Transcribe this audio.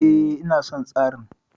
E, ina son tsarin.